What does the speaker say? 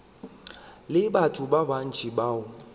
le batho ba bantši bao